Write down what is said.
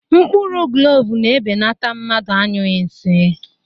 Mkpụrụ klovu na-ebenata mmadụ anyughi nsị